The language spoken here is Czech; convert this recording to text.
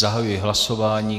Zahajuji hlasování.